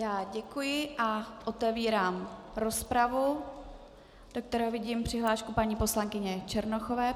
Já děkuji a otevírám rozpravu, do které vidím přihlášku paní poslankyně Černochové.